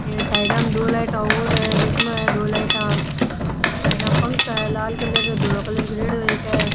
ये साइडा में दो लाइटा और है बिच में है दो लाइटा साइडा में फंखा है लाल कलर और धोला कलर करेड़ों है इ के।